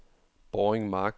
Båring Mark